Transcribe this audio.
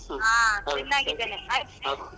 ಹಾ ಚನ್ನಾಗಿದ್ದೇನೆ